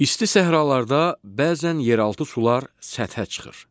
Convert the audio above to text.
İsti səhralarda bəzən yeraltı sular səthə çıxır.